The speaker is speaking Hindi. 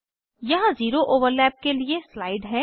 यहाँ जीरो ओवरलैप के लिए स्लाइड है